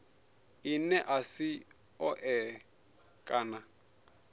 ḽine ḽa si ṱoḓee kana